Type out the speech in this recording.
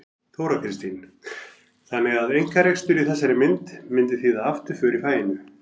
Þóra Kristín: Þannig að einkarekstur í þessari mynd myndi þýða afturför í faginu?